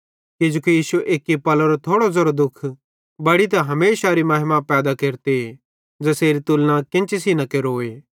किजोकि इश्शो एक्की पलेरो थोड़ो ज़ेरो दुःख बड़ी ते हमेशारी महिमा पैदा केरते ज़ेसेरी तुलना केन्ची सेइं न केरोए